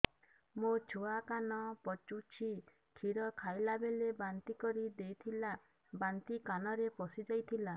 ମୋ ଛୁଆ କାନ ପଚୁଛି କ୍ଷୀର ଖାଇଲାବେଳେ ବାନ୍ତି କରି ଦେଇଥିଲା ବାନ୍ତି କାନରେ ପଶିଯାଇ ଥିଲା